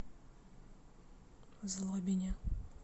злобине